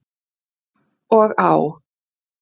Og á.